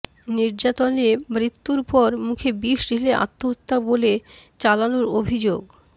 নির্যাতনে মৃত্যুর পর মুখে বিষ ঢেলে আত্মহত্যা বলে চালানোর অভিযোগ